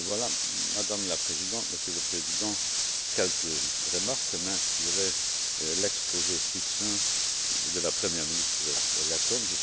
Voilà, Madame la Présidente, Monsieur le Président, quelques remarques inspirées par l'exposé succinct de la première ministre lettone.